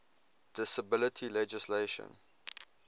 disability legislation